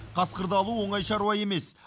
қасқырды алу оңай шаруа емес